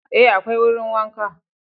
Ee, akwai wurin wanka